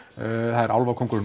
það er álfakóngurinn